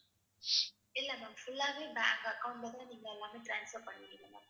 இல்ல ma'am full ஆவே bank account ல தான் நீங்க எல்லாமே transfer பண்ணுவீங்க ma'am.